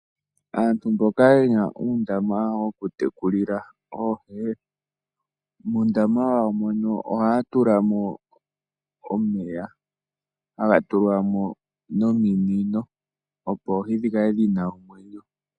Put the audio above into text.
Aantu mboka yena undama woku tekulila oohi , muundama wawo mono ohatulamo omeya hagatulwamo nominino opo oohi dhikale dhina omwenyo.